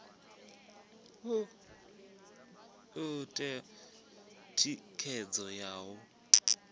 u ṋea thikhedzo ya u